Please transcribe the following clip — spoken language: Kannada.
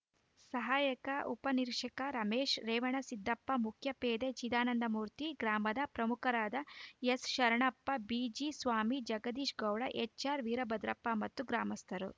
ಸಹಾಯಕ ಉಪನಿರೀಕ್ಷಕ ರಮೇಶ್‌ ರೇವಣ ಸಿದ್ದಪ್ಪ ಮುಖ್ಯ ಪೇದೆ ಚಿದಾನಂದಮೂರ್ತಿ ಗ್ರಾಮದ ಪ್ರಮುಖರಾದ ಎಸ್‌ಶರಣಪ್ಪ ಬಿಜಿ ಸ್ವಾಮಿ ಜಗದೀಶ್‌ ಗೌಡ ಎಚ್‌ಆರ್‌ ವೀರಭದ್ರಪ್ಪ ಮತ್ತು ಗ್ರಾಮಸ್ಥರ